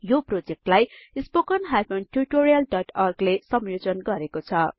यो प्रोजेक्टलाई spoken tutorialओर्ग ले संयोजन गरेको छ